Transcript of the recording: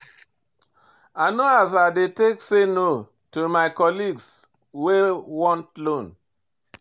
I know as I dey take say no to my colleagues wey want loan.